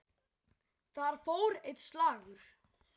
Þar fór einn slagur.